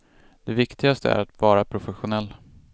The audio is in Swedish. Det viktigaste är att vara professionell.